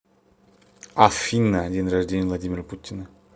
афина день рождения владимира путина